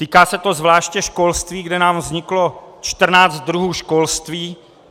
Týká se to zvláště školství, kde nám vzniklo 14 druhů školství.